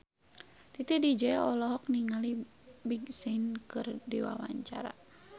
Titi DJ olohok ningali Big Sean keur diwawancara